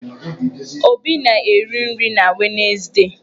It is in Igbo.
Obi na-eri nri na Wenezdee.